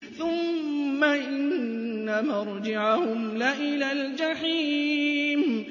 ثُمَّ إِنَّ مَرْجِعَهُمْ لَإِلَى الْجَحِيمِ